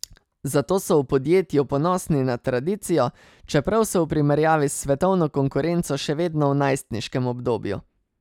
Zato so v podjetju ponosni na tradicijo, čeprav so v primerjavi s svetovno konkurenco še vedno v najstniškem obdobju.